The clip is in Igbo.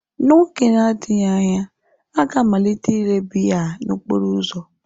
N'oge na-adịghị anya, ha ga-amalite ile biya n'okporo ụzọ.